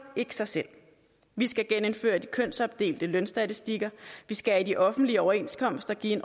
ikke sig selv vi skal genindføre de kønsopdelte lønstatistikker vi skal i de offentlige overenskomster give